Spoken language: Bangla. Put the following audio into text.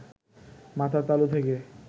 মাথার তালু থেকে